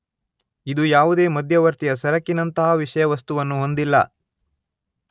ಇದು ಯಾವುದೇ ಮಧ್ಯವರ್ತೀಯ ಸರಕಿನಂತಹ ವಿಷಯವಸ್ತುವನ್ನು ಹೊಂದಿಲ್ಲ.